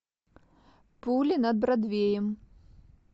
пули над бродвеем